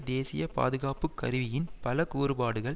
தேசிய பாதுகாப்பு கருவியின் பல கூறுபாடுகள்